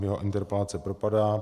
Jeho interpelace propadá.